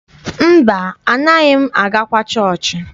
Mba, anaaghị m agakwa chọọchị.